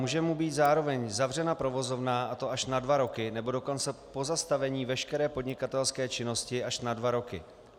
Může mu být zároveň zavřena provozovna, a to až na dva roky, nebo dokonce pozastavena veškerá podnikatelská činnost až na dva roky.